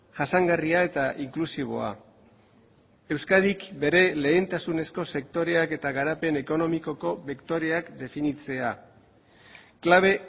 jasangarria eta inklusiboa euskadik bere lehentasunezko sektoreak eta garapen ekonomikoko bektoreak definitzea klabe